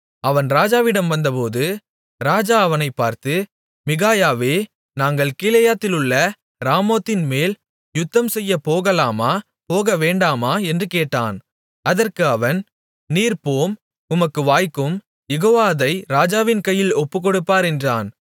அவன் ராஜாவிடம் வந்தபோது ராஜா அவனைப் பார்த்து மிகாயாவே நாங்கள் கீலேயாத்திலுள்ள ராமோத்தின்மேல் யுத்தம்செய்யப் போகலாமா போகவேண்டாமா என்று கேட்டான் அதற்கு அவன் நீர் போம் உமக்கு வாய்க்கும் யெகோவா அதை ராஜாவின் கையில் ஒப்புக்கொடுப்பார் என்றான்